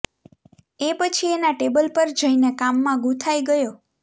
એ પછી એના ટેબલ પર જઈને કામમાં ગૂંથાઈ ગયો